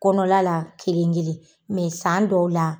Kɔnɔna la kelen-kelen san dɔw la